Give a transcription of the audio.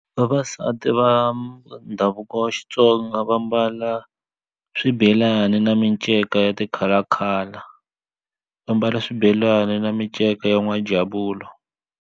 Vavasati va ndhavuko wa Xitsonga va mbala swibelani na minceka ya ti-color color va mbala swibelani na minceka ya n'wana javula.